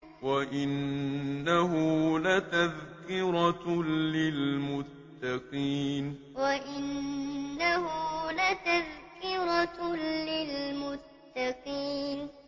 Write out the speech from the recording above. وَإِنَّهُ لَتَذْكِرَةٌ لِّلْمُتَّقِينَ وَإِنَّهُ لَتَذْكِرَةٌ لِّلْمُتَّقِينَ